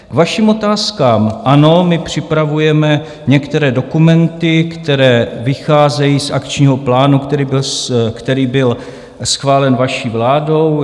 K vašim otázkám: ano, my připravujeme některé dokumenty, které vycházejí z akčního plánu, který byl schválen vaší vládou.